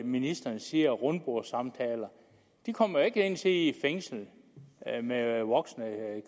ministeren siger rundbordssamtaler de kommer jo ikke ind at sidde i et fængsel med voksne